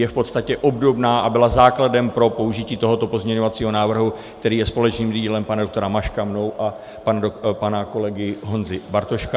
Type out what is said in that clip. Je v podstatě obdobná a byla základem pro použití tohoto pozměňovacího návrhu, který je společným dílem pana doktora Maška, mě a pana kolegy Honzy Bartoška.